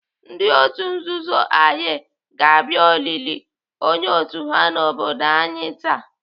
Ndị otu nzuzu Aye ga-abịa olili onye otu ha n'obodo anyi taa.